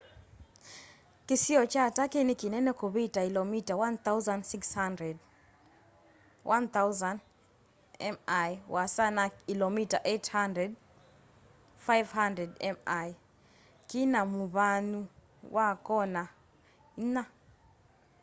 kĩsio kya turkey nĩ kĩnene kũvita ilomita 1,600 1,000 mi ũasa na ilomita 800 500 mi kĩna mũvyanũ wa kona ĩnya